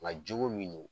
Nka jogo min